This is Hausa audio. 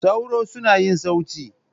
Sauro suna yin sauti.